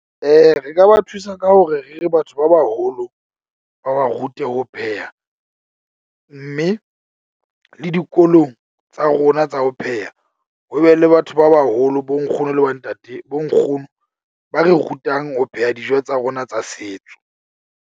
Re ka ba thusa ka hore re re batho ba baholo, ba ba rute ho pheha. Mme le dikolong tsa rona tsa ho pheha, ho be le batho ba baholo bo nkgono le bo ntate, bo nkgono ba re rutang ho pheha dijo tsa rona tsa setso.